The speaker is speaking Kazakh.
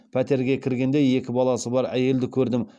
пәтерге кіргенде екі баласы бар әйелді көрдім